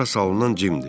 Ora salınan cimdir.